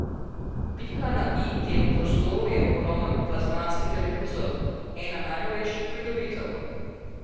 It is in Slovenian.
Pika na i temu prostoru je ogromen plazmatski televizor, ena najnovejših pridobitev.